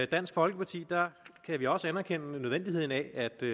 dansk folkeparti kan vi også anerkende nødvendigheden af at der